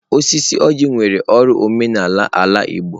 Osisi oji nwere uru n'omenala ala igbo.